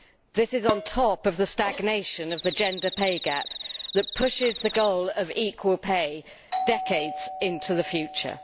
This is on top of the stagnation of the gender pay gap that pushes the goal of equal pay decades into the future.